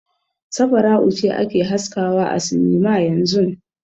Safara'u ce ake haskawa a sinima yanzun.